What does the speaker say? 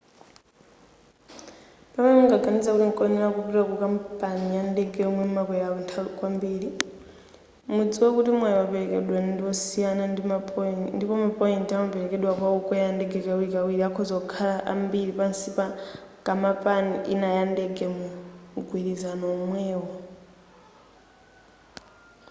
pamene mungaganize kuti nkoyenera kupita ku kampani ya ndege yomwe mumakwera kwambiri mudziwe kuti mwayi woperekedwa ndi wosiyana ndipo ma point amaperekedwa kwa okwera ndege kawirikawiri akhoza kukhala ambiri pansi pa kamapani ina ya ndege mu mgwirizano omwewo